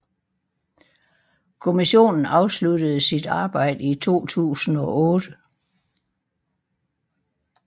Kommissionen afsluttede sit arbejde i 2008